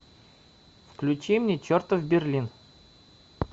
включи мне чертов берлин